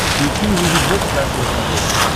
включи мьюзик бокс раша на смотрешке